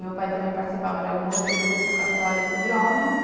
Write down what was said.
Meu pai também participava de algum outro grupo católico de homens.